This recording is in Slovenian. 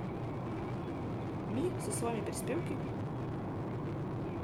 Mi, s svojimi prispevki?